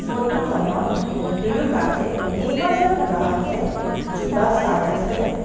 ফোট খনত দুয়োকাষে কেইবাজনো গ্ৰাহকে জোতা চাই আছে.